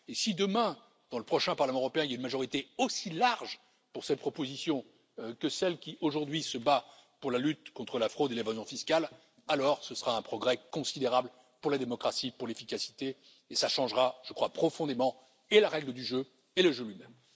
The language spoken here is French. Et si demain, dans le prochain Parlement européen, il y a une majorité aussi large pour cette proposition que celle qui aujourd'hui se bat pour la lutte contre la fraude et l'évasion fiscale, alors ce sera un progrès considérable pour la démocratie, pour l'efficacité, et cela changera profondément, et la règle du jeu et le jeu lui même.